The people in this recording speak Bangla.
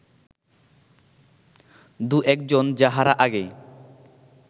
দু-একজন যাহারা আগে